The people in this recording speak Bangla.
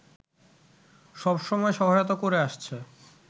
সব সময় সহায়তা করে আসছে